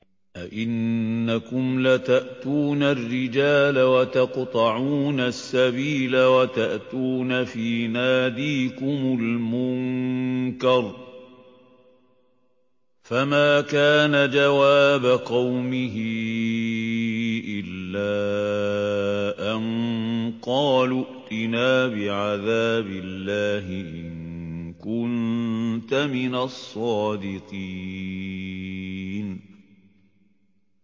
أَئِنَّكُمْ لَتَأْتُونَ الرِّجَالَ وَتَقْطَعُونَ السَّبِيلَ وَتَأْتُونَ فِي نَادِيكُمُ الْمُنكَرَ ۖ فَمَا كَانَ جَوَابَ قَوْمِهِ إِلَّا أَن قَالُوا ائْتِنَا بِعَذَابِ اللَّهِ إِن كُنتَ مِنَ الصَّادِقِينَ